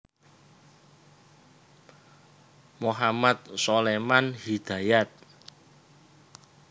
Mohamad Suleman Hidayat